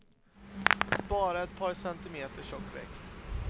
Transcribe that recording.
Spara ett par centimeter tjock vägg.